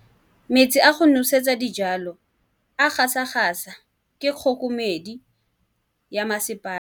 Metsi a go nosetsa dijalo a gasa gasa ke kgogomedi ya masepala.